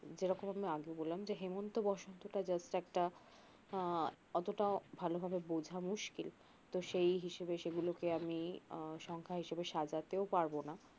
যেরকম আমি আগেও বললাম যে হেমন্ত বসন্ত টা just একটা আহ অতটা ভাল ভাবে বোঝা মুস্কিল তো সেই হিসাবে সেগুলোকে আমি আহ সংখ্যা হিসাবে সাজাতেও পারবোনা